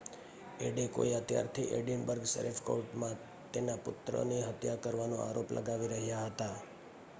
Adekoya ત્યારથી Edinburgh sheriff કોર્ટમાં તેના પુત્રની હત્યા કરવાનો આરોપ લગાવી રહ્યા હતા